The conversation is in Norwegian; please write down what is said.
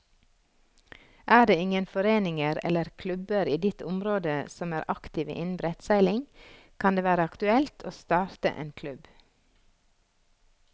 Er det ingen foreninger eller klubber i ditt område som er aktive innen brettseiling, kan det være aktuelt å starte en klubb.